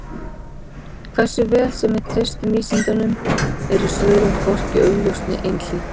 Hversu vel sem við treystum vísindunum eru svörin hvorki augljós né einhlít.